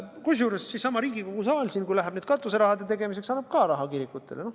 Kusjuures seesama Riigikogu saal siin, kui läheb nüüd katuserahade tegemiseks, annab ka raha kirikutele.